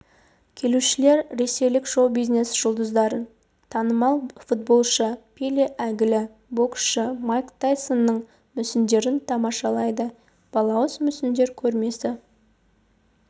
келушілер ресейлік шоу-бизнес жұлдыздарын танымал футболшы пеле әйгілі боксшы майк тайсонның мүсіндерін тамашалайды балауыз мүсіндер көрмесі